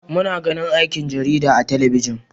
Muna ganin aikin jarida a talabijin.